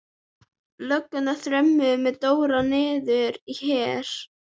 Löggurnar þrömmuðu með Dóra niður á Her.